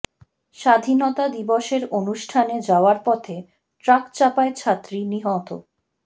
স্বাধীনতা দিবসের অনুষ্ঠানে যাওয়ার পথে ট্রাক চাপায় ছাত্রী নিহত